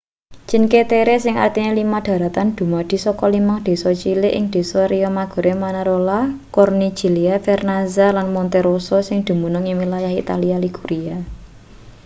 cinque terre sing artine lima dharatan dumadi saka limang desa cilik ing desa riomaggiore manarola corniglia vernazza lan monterosso sing dumunung ing wilayah italia liguria